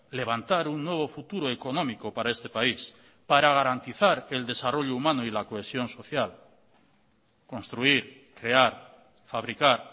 levantar un nuevo futuro económico para este país para garantizar el desarrollo humano y la cohesión social construir crear fabricar